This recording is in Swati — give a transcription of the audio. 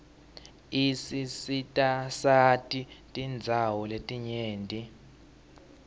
isisitasati tindawo letinyenti